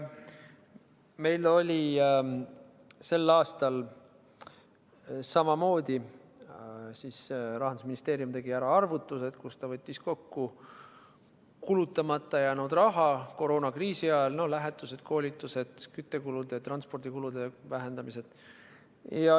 Meil oli sel aastal samamoodi: Rahandusministeerium tegi arvutused, kus ta võttis kokku kulutamata jäänud raha koroonakriisi ajal – lähetused, koolitused, küttekulude, transpordikulude vähendamised.